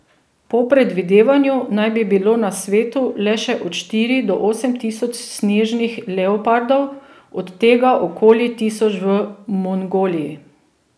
Po predvidevanju naj bi bilo na svetu le še od štiri do osem tisoč snežnih leopardov, od tega okoli tisoč v Mongoliji.